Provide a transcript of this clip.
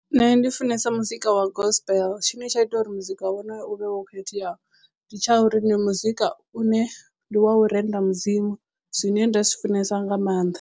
Nṋe ndi funesa muzika wa gospel tshine tsha ita uri muzika wono yo u vhe wo khetheaho ndi tsha uri ndi muzika une ndi wa u renda mudzimu zwine nda zwi funesa nga maanḓa.